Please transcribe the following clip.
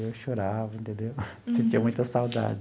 Eu chorava entendeu, sentia muita saudade.